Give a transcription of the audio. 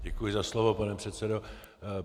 Děkuji za slovo, pane předsedo.